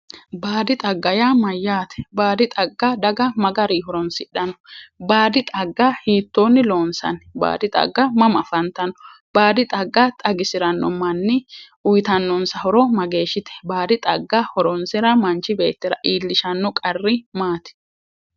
Baadi xagga yaa mayyaate? Baadi xagga daga ma gari horonsidhanno? Baadi xagga hiittoonni loonsanni? Baadi xagga mama afantanno? baadi xagga xagisiranno manni uyiitannonsa horo mageeshshite? Baadi xagga hironsira manchi beettira iillishanno qarri maati?